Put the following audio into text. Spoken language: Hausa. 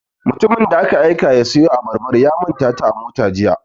Mutumin da aka aika ya siyo Abarbar ya ya manta ta a mota Jiya.